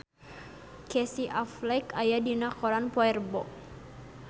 Casey Affleck aya dina koran poe Rebo